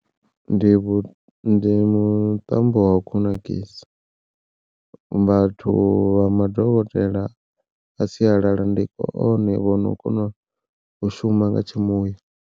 Ndi vhu ndi muṱambo wa u kunakisa vhathu vha madokotela a sialala ndi one vhono kona u shuma nga tshimuya.